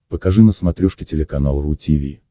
покажи на смотрешке телеканал ру ти ви